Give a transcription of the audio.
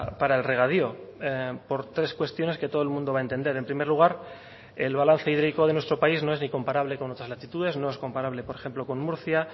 para el regadío por tres cuestiones que todo el mundo va a entender en primer lugar el balance hídrico de nuestro país no es ni comparable con otras latitudes no es comparable por ejemplo con murcia